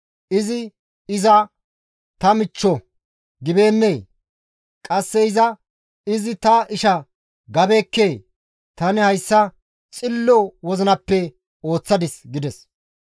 Izi, ‹Iza ta michcho› gibeennee? Qasse iza, ‹Izi ta isha› gabeekkee? Tani hayssa tumu wozinappe ooththadis» gides.